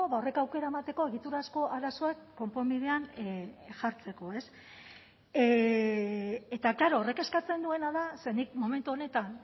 horrek aukera emateko egiturazko arazoak konponbidean jartzeko eta klaro horrek eskatzen duena da ze nik momentu honetan